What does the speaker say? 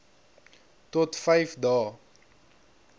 tot vyf dae